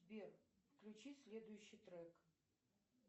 сбер включи следующий трек